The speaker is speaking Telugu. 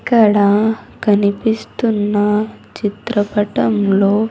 ఇక్కడ కనిపిస్తున్న చిత్రపటంలో--